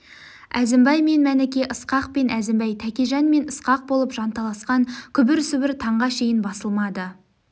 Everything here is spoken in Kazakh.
әзімбай мен мәніке ысқақ пен әзімбай тәкежан мен ысқақ болып жанталасқан күбір-сыбыр танға шейін басылмады